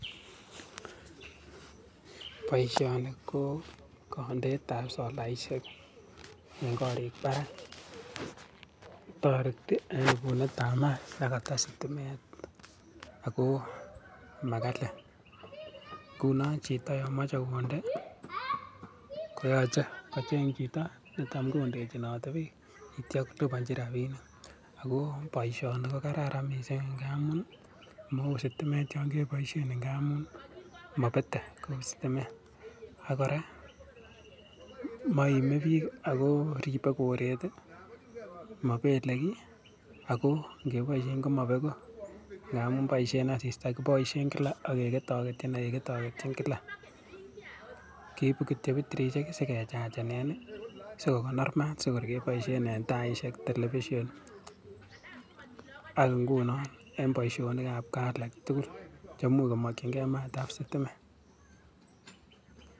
Boishoni ko kondeetab solaishek en korik barak, toreti en ibunetab maat nekoto sitimet ak ko makali, ng'unon chito nemoche konde koyoche kocheng chito netam kondechinote biik akityo kolibonchi rabinik ak ko boishoni ko kararan ngamun sitimet yoon keboishen ng'amun mobete kou sitimet, ak kora moime biik ak ko ribee koret mobele kii ak ko ng'eboishen ko mobeku ng'amun boishen asista, kiboishen kilak ak keketoketyin ak keketoketyin kilak, keibu kitiok betirishek sikechachenen sikokonor maat sikor keboishen en taishek, television ak ing'unon en boishonikab kaa alaak tukul cheimuch komokying'ee maatab sitimet.